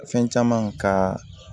Fɛn caman kaa